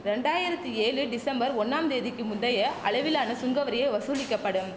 ரெண்டராயிரத்தி ஏழு டிசம்பர் ஒண்ணாம் தேதிக்கு முந்தைய அளவிலான சுங்கவரியே வசுலிக்க படும்